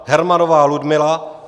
Hermannová Ludmila